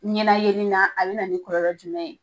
Ɲɛnayeni na a bina na nin kɔlɔlɔ jumɛn ye